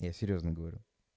я серьёзно говорю